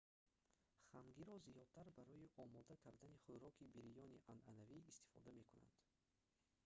хангиро зиёдтар барои омода кардани хӯроки бирёни анъанавӣ истифода мекунанд